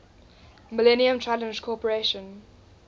millennium challenge corporation